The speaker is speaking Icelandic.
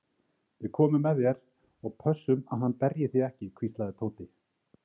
Við komum með þér og pössum að hann berji þig ekki hvíslaði Tóti.